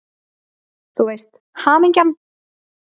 Þú veist: Hamingjan!